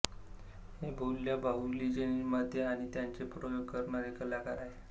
हे बोलक्या बाहुलीचे निर्माते आणि त्यांचे प्रयोग करणारे कलाकार आहेत